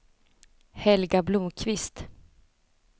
Helga Blomkvist